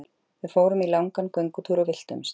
Við fórum í langan göngutúr og villtumst!